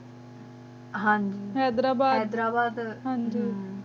ਹਨ ਜੀ ਹੈਦਰਾ ਬਾਦ ਹਮ